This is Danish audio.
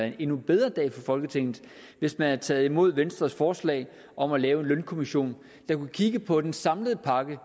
en endnu bedre dag for folketinget hvis man havde taget imod venstres forslag om at lave en lønkommission der kunne kigge på den samlede pakke